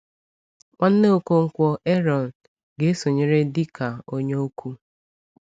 Nwanne Ọkọnkwo, Ààrọ̀n, ga-esonyere dị ka onye okwu.